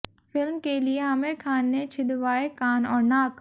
film के लिए आमिर खान ने छिदवाए कान और नाक